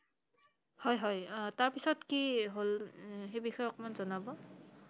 হয় হয় তাৰ পিছত কি হʼল উম সেই বিষয়ে অলপ জনাব I